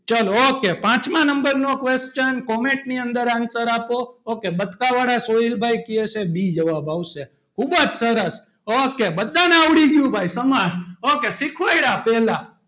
ચાલો ok પાંચમા number નો question comment ની અંદર answer આપો ok બચકાવાળા સોઈલભાઈ કે છે B જવાબ આવશે ખૂબ જ સરસ ok બધાને આવડી ગયું ભાઈ સમાસ ok શીખવાડે પહેલા,